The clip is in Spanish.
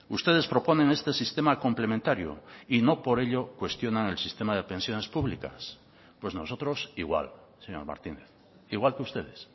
ustedes proponen este sistema complementario y no por ello cuestionan el sistema de pensiones públicas pues nosotros igual señor martínez igual que ustedes